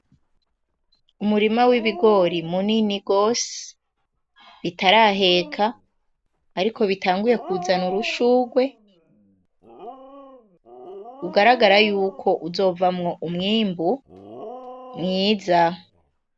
Umurima w'ibigori munini gose , bitaraheka ariko bitanguye kuzana amashurwe ugaragara yuko uzovamwo umwimbu mwiza.